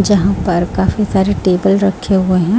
जहां पर काफी सारे टेबल रखे हुए हैं।